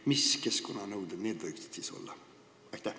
Mis keskkonnanõuded need võiksid olla?